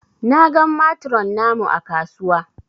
Na gan matron namu ã kasuwa.